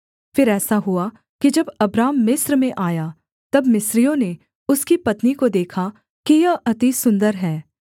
फिर ऐसा हुआ कि जब अब्राम मिस्र में आया तब मिस्रियों ने उसकी पत्नी को देखा कि यह अति सुन्दर है